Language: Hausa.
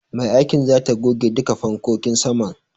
Mai aikin zata goge duka fankokin saman.